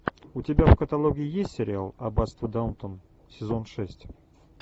у тебя в каталоге есть сериал аббатство даунтон сезон шесть